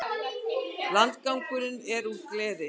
Landgangurinn er úr gleri.